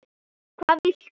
hvað viltu?